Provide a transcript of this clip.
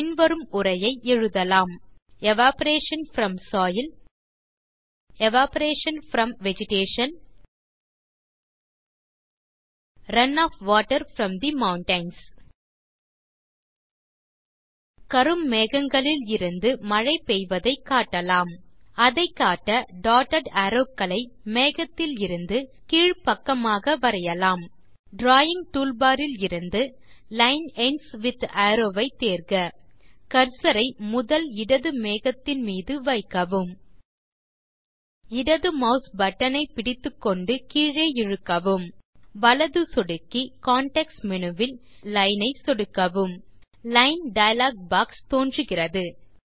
பின் வரும் உரையை எழுதலாம் evaporation from soil evaporation from vegetation run off water from the mountains கரும் மேகங்களில் இருந்து மழை பெய்வதை காட்டலாம் அதை காட்ட டாட்டட் அரோவ் க்களை மேகத்திலிருந்து கீழ் பக்கமாக வரையலாம் டிராவிங் டூல்பார் இலிருந்து லைன் எண்ட்ஸ் வித் அரோவ் ஐ தேர்க கர்சர் ஐ முதல் இடது மேகத்தின் மீது வைக்கவும் இடது மாஸ் பட்டன் ஐ பிடித்துக்கொண்டு கீழே இழுக்கவும் வலது சொடுக்கி கான்டெக்ஸ்ட் மேனு வில் ஏரியா லைன் ஐ சொடுக்கவும் லைன் டயலாக் பாக்ஸ் தோன்றுகிறது